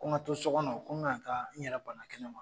Ko n ka to so kɔnɔ, ko n ka na taa n yɛrɛ banna kɛnɛ ma.